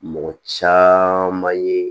Mɔgɔ caman ye